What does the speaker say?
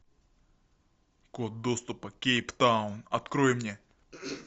код доступа кейптаун открой мне